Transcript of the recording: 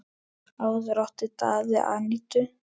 Áður átti Daði Anítu.